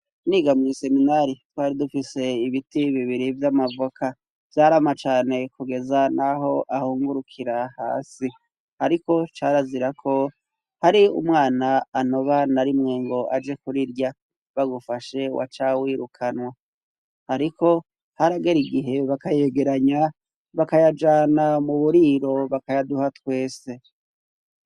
Niga mw' iseminari twari dufise ibiti bibiri vy'amavoka vyarama cane kugeza n'aho ahungurukira hasi ariko carazira ko hari umwana antoba na rimwe ngo aje kurirya bagufashe wacawirukanwa hariko haragera igihe bakayegeranya bakayajana mu buriro bakayaduha twese.